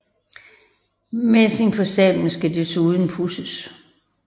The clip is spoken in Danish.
Messingen på sablen skal desuden pudses